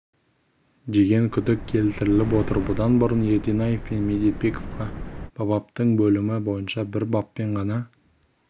деген күдік келтіріліп отыр бұдан бұрын ерденаев пен медетбековке бабаптың бөлімі бойынша бір баппен ғана